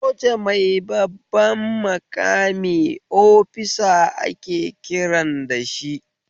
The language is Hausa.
Soja mai babban maƙami ofisa ake kiran dashi